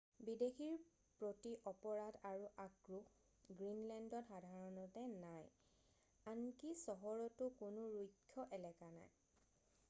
"বিদেশীৰ প্ৰতি অপৰাধ আৰু আক্ৰোহ গ্ৰীণলেণ্ডত সাধাৰণতে নাই। আনকি চহৰটো কোনো "ৰুক্ষ এলেকা" নাই।""